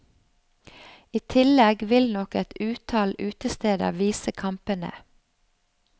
I tillegg vil nok et utall utesteder vise kampene.